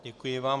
Děkuji vám.